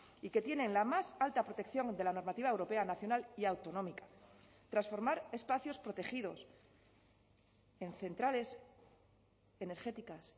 y que tienen la más alta protección de la normativa europea nacional y autonómica transformar espacios protegidos en centrales energéticas